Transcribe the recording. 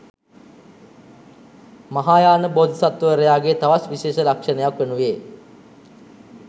මහායාන බෝධිසත්වවරයාගේ තවත් විශේෂ ලක්‍ෂණයක් වනුයේ